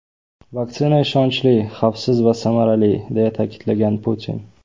Vaksina ishonchli, xavfsiz va samarali”, – deya ta’kidlagan Putin.